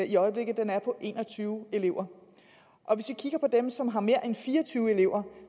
i øjeblikket er på en og tyve elever hvis vi kigger på dem som har mere end fire og tyve elever